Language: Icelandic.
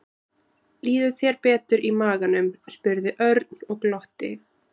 Líður þér betur í maganum? spurði Örn og glotti.